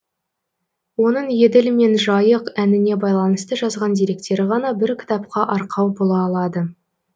оның еділ мен жайық әніне байланысты жазған деректері ғана бір кітапқа арқау бола алады